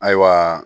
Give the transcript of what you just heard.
Ayiwa